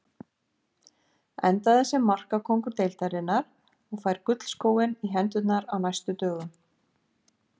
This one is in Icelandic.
Endaði sem markakóngur deildarinnar og fær gullskóinn í hendurnar á næstu dögum.